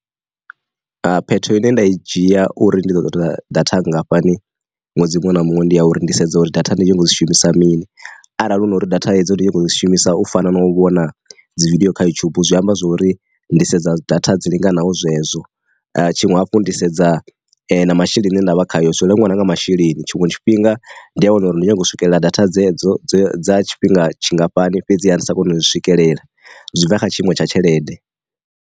Ha phetho ine nda i dzhia uri ndi ḓo ṱoḓa data nngafhani ṅwedzi muṅwe na muṅwe ndi ya uri ndi sedza uri data ndi tshi ḓo dzi shumisa mini, arali hu na uri data hedzo ndi tshi kho shumisa u fana na u vhona dzividiyo kha yutshubu zwi amba zwori ndi sedza data dzi linganaho zwezwo. Tshiṅwe hafhu ndi sedza na masheleni ndavha khayo zwo langwa nanga masheleni. Tshiṅwe tshifhinga ndi a wana uri ndi kone u swikelela data dzedzo dza tshifhinga tshingafhani fhedzi hani sa koni u swikelela, zwi bva kha tshiimo tsha tshelede.